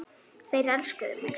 Þeir elskuðu mig.